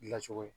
Dilancogo ye